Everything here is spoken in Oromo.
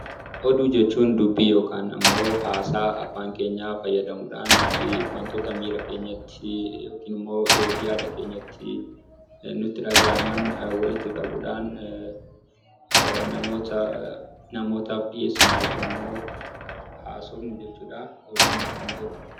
Oduu jechuun dubbii yookiin haasaa afaan keenyaa fayyadamuudhaan wantoota miira keenyatti yookiin immoo yaada keenyatti nutti dhagahaman walitti qabuudhaan namootaaf dhiyeessinu yookiin immoo haasofnu jechuudha. Oduun natti hin tolu.